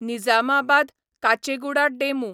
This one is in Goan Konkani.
निजामाबाद काचेगुडा डेमू